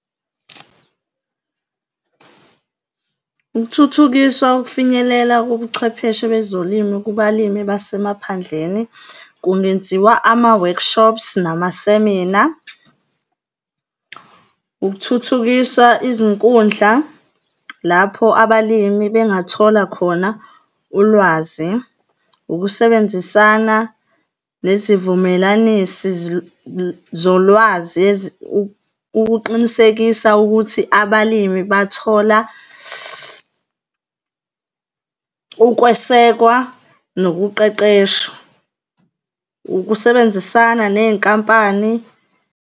Ukuthuthukiswa ukufinyelela kobucwepheshe bezolimo kubalimi basemaphandleni, kungenziwa ama-workshops namasemina. Ukuthuthukisa izinkundla lapho abalimi bengathola khona ulwazi. Ukusebenzisana nezivumelanisi zolwazi ukuqinisekisa ukuthi abalimi bathola ukwesekwa nokuqeqeshwa. Ukusebenzisana ney'nkampani.